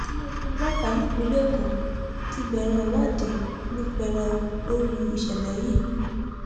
iléeṣẹ ọlọpàá ìpínlẹ èkó ti bẹrẹ ìwádìí ní pẹrẹu lórí ìṣẹlẹ yìí